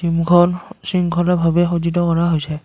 শৃংখলা ভাৱে সজ্জিত কৰা হৈছে।